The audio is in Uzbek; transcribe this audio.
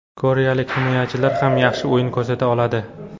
Koreyalik himoyachilar ham yaxshi o‘yin ko‘rsata oladi”.